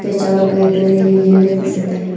त्याच्यावर काहितरी लिहिलेल दिसत आहे.